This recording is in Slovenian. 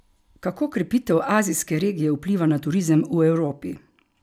Kako krepitev azijske regije vpliva na turizem v Evropi?